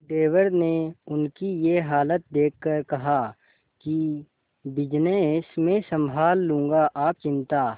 देवर ने उनकी ये हालत देखकर कहा कि बिजनेस मैं संभाल लूंगा आप चिंता